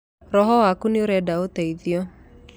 Roho waku nĩũrenda ũteithio.